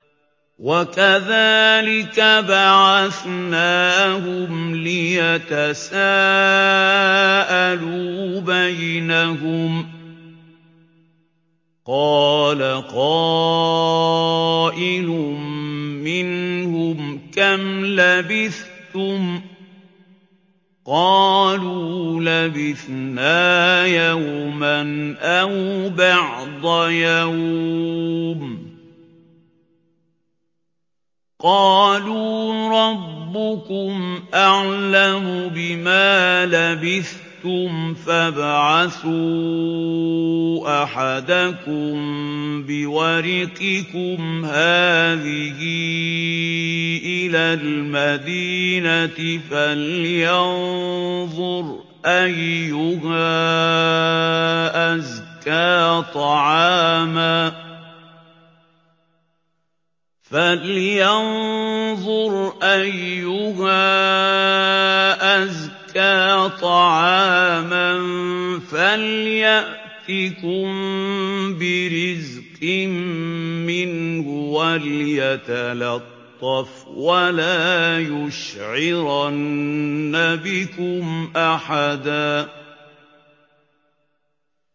وَكَذَٰلِكَ بَعَثْنَاهُمْ لِيَتَسَاءَلُوا بَيْنَهُمْ ۚ قَالَ قَائِلٌ مِّنْهُمْ كَمْ لَبِثْتُمْ ۖ قَالُوا لَبِثْنَا يَوْمًا أَوْ بَعْضَ يَوْمٍ ۚ قَالُوا رَبُّكُمْ أَعْلَمُ بِمَا لَبِثْتُمْ فَابْعَثُوا أَحَدَكُم بِوَرِقِكُمْ هَٰذِهِ إِلَى الْمَدِينَةِ فَلْيَنظُرْ أَيُّهَا أَزْكَىٰ طَعَامًا فَلْيَأْتِكُم بِرِزْقٍ مِّنْهُ وَلْيَتَلَطَّفْ وَلَا يُشْعِرَنَّ بِكُمْ أَحَدًا